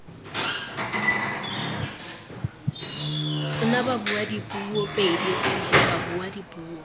nna babuadipuo pedi kgotsa babuadipuo